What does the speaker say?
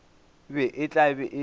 be e tla be e